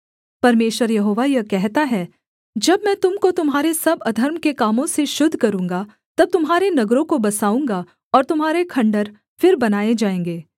परमेश्वर यहोवा यह कहता है जब मैं तुम को तुम्हारे सब अधर्म के कामों से शुद्ध करूँगा तब तुम्हारे नगरों को बसाऊँगा और तुम्हारे खण्डहर फिर बनाए जाएँगे